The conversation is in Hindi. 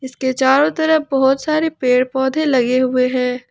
उसके चारों तरफ बहुत सारे पेड़ पौधे लगे हुए हैं।